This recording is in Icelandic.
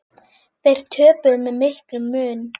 Þeir töpuðu með miklum mun.